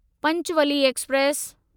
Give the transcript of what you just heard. Panchvalley express